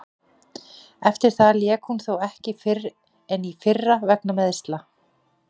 Eftir það lék hún þó ekki fyrr en í fyrra vegna meiðsla.